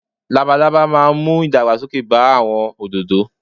Labalábá máa mú ìdàgbà sókè bá àwon òdòdò